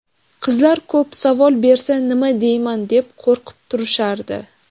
Qizlar ko‘p, savol bersa nima deyman, deb qo‘rqib turishardi.